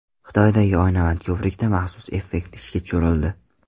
Xitoydagi oynavand ko‘prikda maxsus effekt ishga tushirildi.